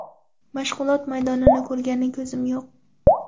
Mashg‘ulot maydonini ko‘rgani ko‘zim yo‘q.